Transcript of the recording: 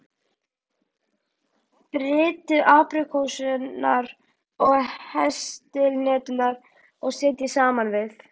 Brytjið apríkósurnar og heslihneturnar og setjið saman við.